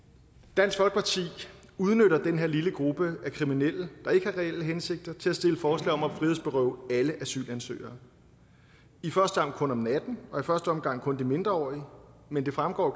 dansk folkeparti udnytter den her lille gruppe af kriminelle der ikke har reelle hensigter til at stille forslag om at frihedsberøve alle asylansøgere i første omgang kun om natten og i første omgang kun de mindreårige men det fremgår